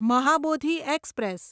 Mahabodhi express